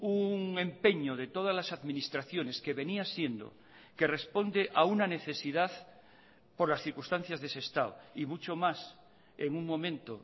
un empeño de todas las administraciones que venía siendo que responde a una necesidad por las circunstancias de sestao y mucho más en un momento